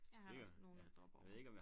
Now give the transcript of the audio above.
Jeg har også nogle jeg dropper over